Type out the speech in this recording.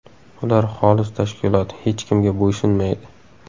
Ular xolis tashkilot, hech kimga bo‘ysunmaydi.